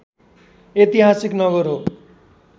ऐतिहासिक नगर हो